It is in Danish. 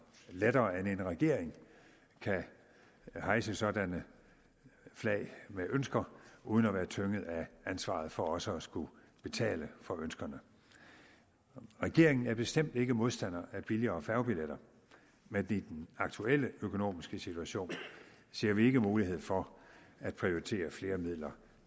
lettere end en regering kan hejse sådanne flag med ønsker uden at være tynget af ansvaret for også at skulle betale for ønskerne regeringen er bestemt ikke modstander af billigere færgebilletter men i den aktuelle økonomiske situation ser vi ikke mulighed for at prioritere flere midler